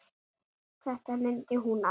Þetta mundi hún allt.